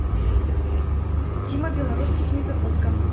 тима белорусских незабудка